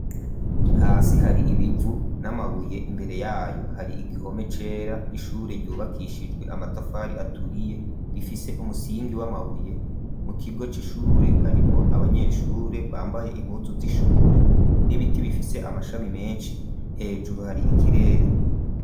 Hasi hari ibivu n'amabuye imbere yayo hari igihome cera n'ishure ryubakishijwe amatafari aturiye gifise umusingi w'amabuye mu kigo c'ishure harimwo abanyeshure bambaye impuzu z'ishure n'ibiti bifise amashami menshi hejuru hari ikirere.